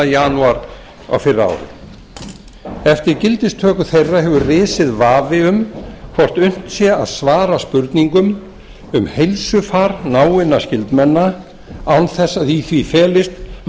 janúar á fyrra ári eftir gildistöku þeirra hefur risið vafi um hvort unnt sé að svara spurningum um heilsufar náinna skyldmenna án þess að í því felist